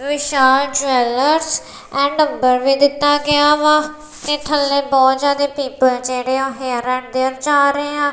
Vishal jewellers and number ਵੀ ਦਿੱਤਾ ਗਿਆ ਵਾ ਤੇ ਥੱਲੇ ਬਹੁਤ ਜਿਆਦੇ ਪੀਪਲ ਜਿਹੜੇ ਆਂ ਹੇਅਰ ਐਂਡ ਦੇਅਰ ਜਾ ਰਹੇ ਆ।